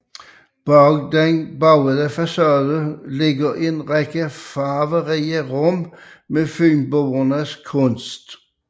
Bag den buede facade ligger en række farverige rum med Fynboernes kunst